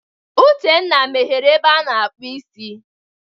Uchenna meghere ebe a na-akpụ isi.